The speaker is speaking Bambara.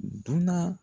Dunan